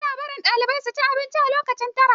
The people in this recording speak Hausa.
Ana barin ɗalibai su ci abinci lokacin tara.